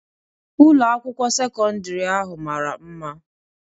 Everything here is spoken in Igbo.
Ụlọ akwụkwọ sekọndri ahụ mara mma